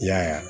I y'a ye wa